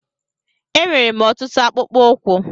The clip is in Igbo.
Enwèrè m ọtụtụ akpụkpọ ụkwụ